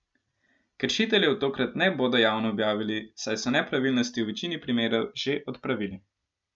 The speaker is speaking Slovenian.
Kršiteljev tokrat ne bodo javno objavili, saj so nepravilnosti v večini primerov že odpravili.